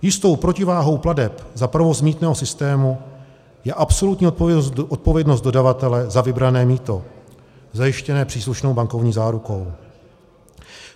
Jistou protiváhou plateb za provoz mýtného systému je absolutní odpovědnost dodavatele za vybrané mýto zajištěné příslušnou bankovní zárukou.